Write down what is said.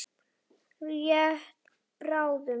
Rétt bráðum.